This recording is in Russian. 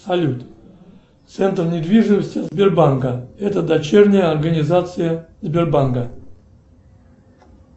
салют центр недвижимости сбербанка это дочерняя организация сбербанка